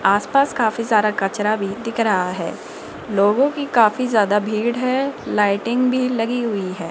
आसपास काफी सारा कचरा भी दिख रहा है लोगों की काफी ज्यादा भीड़ है लाइटिंग भी लगी हुई है।